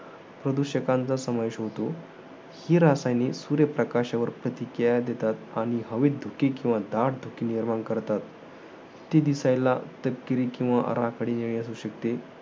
प्रदूषकांचा समावेश होतो. ही रसायने, सूर्यप्रकाशावर प्रतिक्रिया देतात. आणि हवेत धुके किंवा दाट प्रक्रिया करतात. ती दिसायला तपकिरी किंवा राखाडी असू शकते.